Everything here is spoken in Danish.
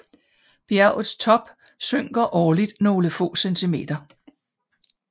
Bjergets top synker årligt nogle få centimeter